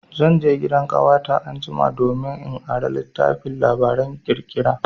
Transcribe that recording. Zan je gidan ƙawata anjima domin in ara littafin labaran ƙirƙira.